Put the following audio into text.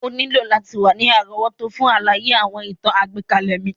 O nílò láti wa ni àrówótó fun àlàyé àwọn ìtàn àgbékalẹ̀ mi.